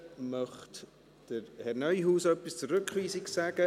Möchte Herr Neuhaus etwas zur Rückweisung sagen?